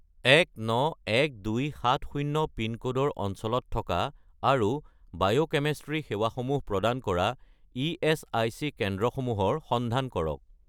191270 পিনক'ডৰ অঞ্চলত থকা আৰু বায়'কেমিষ্ট্ৰী সেৱাসমূহ প্ৰদান কৰা ইএচআইচি কেন্দ্ৰসমূহৰ সন্ধান কৰক